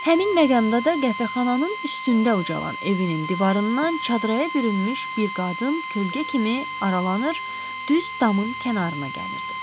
Həmin məqamda da qəhvəxananın üstündə ucalan evinin divarından çadırrağa bürünmüş bir qadın kölgə kimi aralanır, düz damın kənarına gəlirdi.